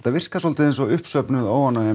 virkar þetta eins og uppsöfnuð óánægja